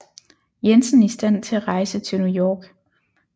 Jensen i stand til at rejse til New York